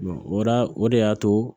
ora o de y'a to